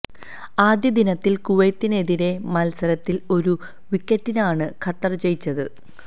ആദ്യ ദിനത്തില് കുവൈത്തിനെതിരായ മല്സരത്തില് ഒരു വിക്കറ്റിനാണ് ഖത്തര് ജയിച്ചത്